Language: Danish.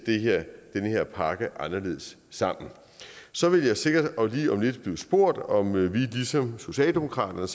den her pakke anderledes sammen så vil jeg sikkert lige om lidt blive spurgt om vi ligesom socialdemokratiet